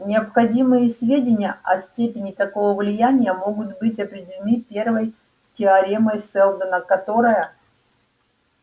необходимые сведения о степени такого влияния могут быть определены первой теоремой сэлдона которая